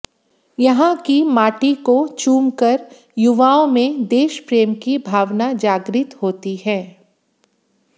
यहां की माटी को चुम कर युवाओं में देश प्रेम की भावना जागृत होती है